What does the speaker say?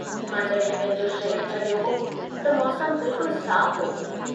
मां जड़हिं पंहिंजो शहरु छड़ियो हो त मौसम बिल्कुल साफ़ हो।